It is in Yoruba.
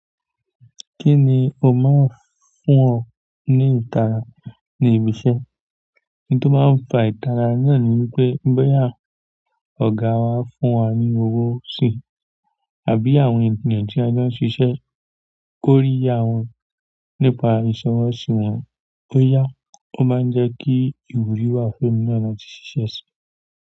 Kí ni o máa ń fún ọ ní ìtara ní ibi iṣẹ́? Ohun tó máa fa ìtara náà ni wípé, bóyá ọ̀gá wa fún wa ní owó si àbí àwọn ènìyàn tí a jọ ń ṣiṣẹ́ kórìíyá wọn nípa ìsọwọ́ sí wọn. Ó yá, ó máa ń jẹ́ kí ìwúrí wà fún ẹmi náà láti síse.